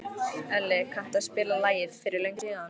Elli, kanntu að spila lagið „Fyrir löngu síðan“?